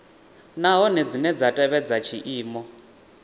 nahone dzine dza tevhedza tshiimo